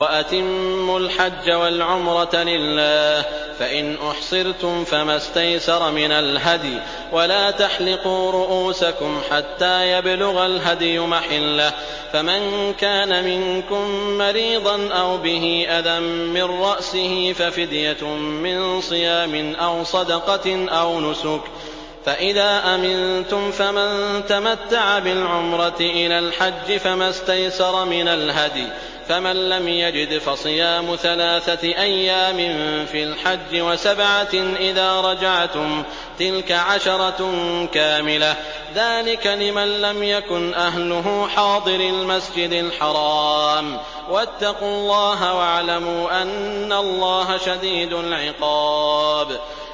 وَأَتِمُّوا الْحَجَّ وَالْعُمْرَةَ لِلَّهِ ۚ فَإِنْ أُحْصِرْتُمْ فَمَا اسْتَيْسَرَ مِنَ الْهَدْيِ ۖ وَلَا تَحْلِقُوا رُءُوسَكُمْ حَتَّىٰ يَبْلُغَ الْهَدْيُ مَحِلَّهُ ۚ فَمَن كَانَ مِنكُم مَّرِيضًا أَوْ بِهِ أَذًى مِّن رَّأْسِهِ فَفِدْيَةٌ مِّن صِيَامٍ أَوْ صَدَقَةٍ أَوْ نُسُكٍ ۚ فَإِذَا أَمِنتُمْ فَمَن تَمَتَّعَ بِالْعُمْرَةِ إِلَى الْحَجِّ فَمَا اسْتَيْسَرَ مِنَ الْهَدْيِ ۚ فَمَن لَّمْ يَجِدْ فَصِيَامُ ثَلَاثَةِ أَيَّامٍ فِي الْحَجِّ وَسَبْعَةٍ إِذَا رَجَعْتُمْ ۗ تِلْكَ عَشَرَةٌ كَامِلَةٌ ۗ ذَٰلِكَ لِمَن لَّمْ يَكُنْ أَهْلُهُ حَاضِرِي الْمَسْجِدِ الْحَرَامِ ۚ وَاتَّقُوا اللَّهَ وَاعْلَمُوا أَنَّ اللَّهَ شَدِيدُ الْعِقَابِ